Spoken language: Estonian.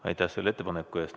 Aitäh selle ettepaneku eest!